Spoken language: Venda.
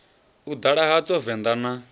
u ḓala hadzo venḓa na